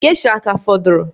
Gesha a ka fọdụrụ?